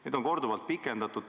Neid on korduvalt pikendatud.